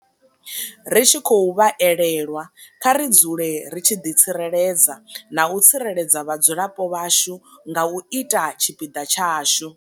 Ri tshi khou vha elelwa, kha ri dzule ri tshi ḓitsireledza na u tsireledza vhadzulapo vhashu nga u ita tshipiḓa tshashu.